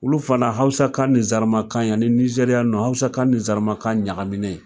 Olu fana hawusakan ni zɛrimakan yanni nizeriya ninnu hawusakan ni zɛrimakan ɲagaminen